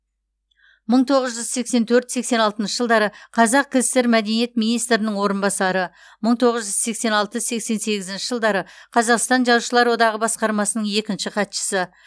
мың тоғыз жүз сексен төрт сексен алтыншы жылдары қазкср мәдениет министрінің орынбасары мың тоғыз жүз сексен алты сексен сегізінші жылдары қазақстан жазушылар одағы басқармасының екінші хатшысы